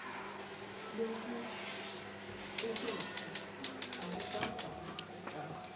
lokucuketfwe akuvami kucaca